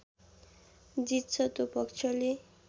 जित्छ त्यो पक्षले